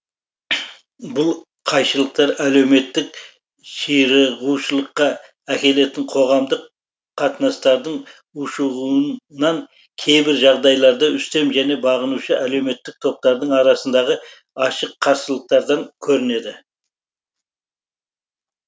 бұл қайшылықтар әлеуметтік ширығушылыққа әкелетін қоғамдық қатынастардың ушығуынан кейбір жағдайларда үстем және бағынушы әлеуметтік топтардың арасындағы ашық қарсылықтардан көрінеді